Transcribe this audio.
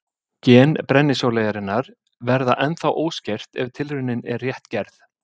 Gen brennisóleyjarinnar verða ennþá óskert ef tilraunin er rétt gerð.